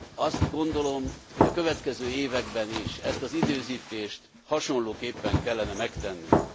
Azt gondolom, hogy a következő években is ezt az időzítést hasonlóképpen kellene megtennünk.